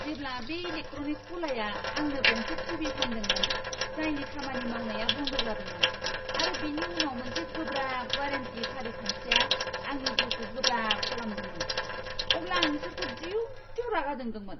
जेब्ला बे इलेक्ट्रनिक्स गलाया आंनो गंसे टीवी फानदोंमोन, जायनि खामानि मावनाया बन्द जादोंमोन आरो बिनि उनाव मोनसे गोब्राब वारेन्टी फारिखान्थिआ आंनि जिउखौ गोब्राब खालामदोंमोन, अब्ला आं बिसोरखौ दिउ दिउ रागा जोंदोंमोन!